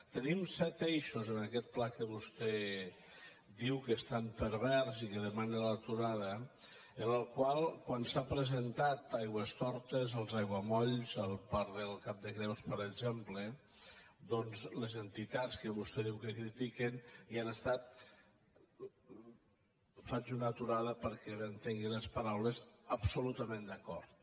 tenim set eixos en aquest pla que vostè diu que és tan pervers i del qual demana l’aturada en el qual quan s’ha presentat a aigüestortes als aiguamolls al parc del cap de creus per exemple doncs les entitats que vostè diu que critiquen hi han estat faig una aturada perquè m’entengui les paraules absolutament d’acord